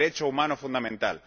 Un derecho humano fundamental.